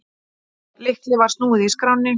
Lykli var snúið í skránni.